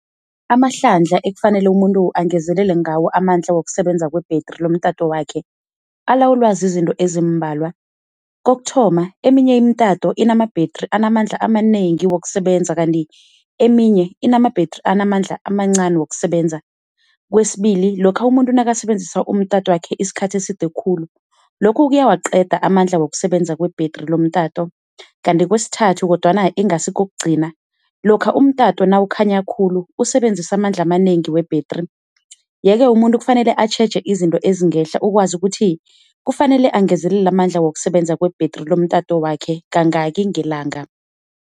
Amahlandla ekufanele umuntu angezelele ngawo amandla wokusebenza kwebhretri lomtato wakhe, alawulwa zizinto ezimbalwa. Kokuthoma, eminye imitato inamabhetri anamandla amanengi wokusebenza kanti eminye inamabhetri anamandla amancani wokusebenza. Kwesibili, lokha umuntu nakasebenzisa isikhathi eside khulu, lokho kuyawaqeda amandla wokusebenza kwebhetri lomtato kanti kwesithathu kodwana ingasi kokugcina lokha umtato nawukhanya khulu usebenzisa amandla amanengi webhetri. Yeke umuntu kufanele atjheje izinto ezingehla akwazi ukuthi kufanele angezelele amandla wokusebenza kwebhetri lomtato wakhe kangaki ngelanga.